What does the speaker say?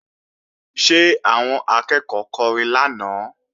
Ṣé àwọn akẹ́ẹ̀kọ́ kọrin lánàá?